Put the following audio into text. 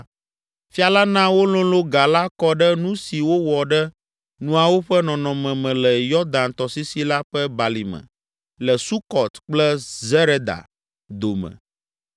Fia la na wololõ ga la kɔ ɖe nu si wowɔ ɖe nuawo ƒe nɔnɔme me le Yɔdan tɔsisi la ƒe balime le Sukɔt kple Zereda dome.